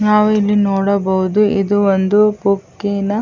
ನಾವು ಇಲ್ಲಿ ನೋಡಬಹುದು ಇದು ಒಂದು ಬುಕ್ಕಿನ --